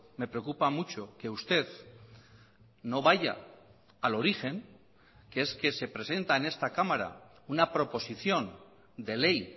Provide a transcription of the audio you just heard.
me preocupa mucho que usted no vaya al origen que es que se presenta en esta cámara una proposición de ley